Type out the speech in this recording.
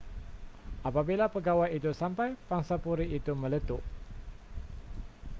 apabila pegawai itu sampai pangsapuri itu meletup